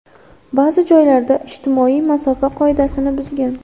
Ba’zi joylarda ijtimoiy masofa qoidasini buzgan.